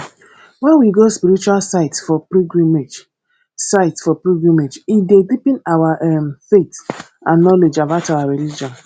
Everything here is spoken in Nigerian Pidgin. when we go spiritual sites for pilgrimage sites for pilgrimage e dey deepen our um faith and knowledge about our religion